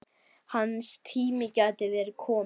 Hans tími gæti verið kominn.